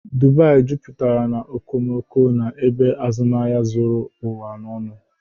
Dubai jupụtara na okomoko na ebe azụmahịa zuru ụwa ọnụ.